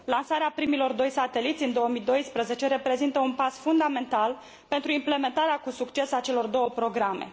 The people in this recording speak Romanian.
Lansarea primilor doi sateliți în 2012 reprezintă un pas fundamental pentru implementarea cu succes a celor două programe.